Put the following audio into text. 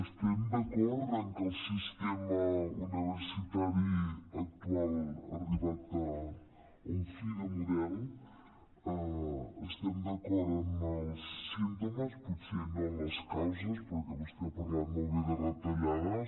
estem d’acord en que el sistema uni·versitari actual ha arribat a un fi de model estem d’acord en els símptomes potser no en les causes perquè vostè ha parlat molt bé de retallades